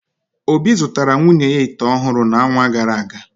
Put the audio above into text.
Obi zụtara nwunye ya ite ọhụrụ n’ọnwa gara aga.